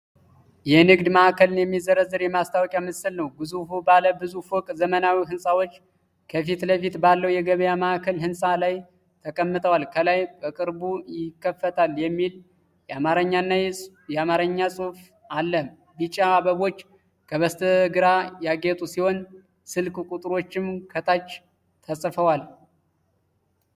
የንግድ ማዕከልን የሚዘረዝር የማስታወቂያ ምስል ነው። ግዙፍ ባለ ብዙ ፎቅ ዘመናዊ ሕንፃዎች ከፊት ለፊቱ ባለው የገበያ ማዕከል ሕንፃ ላይ ተቀምጠዋል። ከላይ “በቅርቡ ይከፈታል” የሚል የአማርኛ ጽሑፍ አለ። ቢጫ አበቦች ከበስተግራ ያጌጡ ሲሆን ስልክ ቁጥሮችም ከታች ተጽፈዋል።